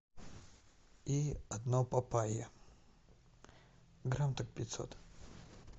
и одно папайя грамм так пятьсот